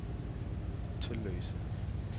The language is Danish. Tølløse